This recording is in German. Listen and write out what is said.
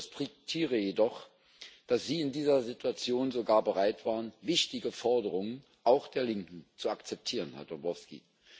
Ich respektiere jedoch, dass Sie in dieser Situation sogar bereit waren, wichtige Forderungen, auch der Linken, zu akzeptieren, Herr Dombrovskis.